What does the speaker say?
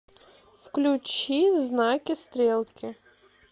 включи знаки стрелки